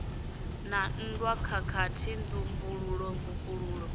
na nndwa khakhathi nzumbululo mvukululo